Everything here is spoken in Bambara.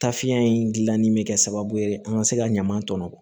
Tafiya in gilanni bɛ kɛ sababu ye an ka se ka ɲaman tɔmɔ